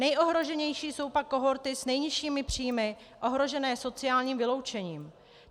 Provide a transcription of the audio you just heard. Nejohroženější jsou pak kohorty s nejnižšími příjmy ohrožené sociálním vyloučením.